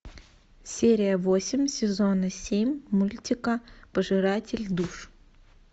серия восемь сезона семь мультика пожиратель душ